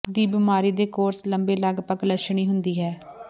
ਦੀ ਬਿਮਾਰੀ ਦੇ ਕੋਰਸ ਲੰਬੇ ਲਗਭਗ ਲੱਛਣੀ ਹੁੰਦੀ ਹੈ